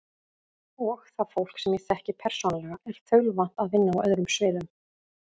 Og það fólk, sem ég þekki persónulega, er þaulvant að vinna á öðrum sviðum.